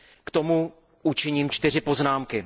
K tomu učiním čtyři poznámky.